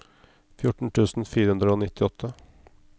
fjorten tusen fire hundre og nittiåtte